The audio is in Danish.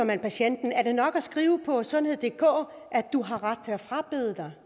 man patienten er det nok at skrive på sundheddk at man har ret til at frabede sig